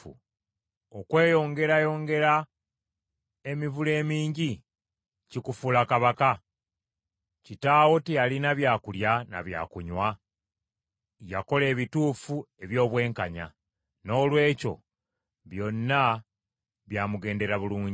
“Okweyongerayongera emivule emingi kikufuula kabaka? Kitaawo teyalina byakulya na byakunywa? Yakola ebituufu eby’obwenkanya. Noolwekyo byonna byamugendera bulungi.